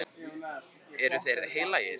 Eru þeir heilagir?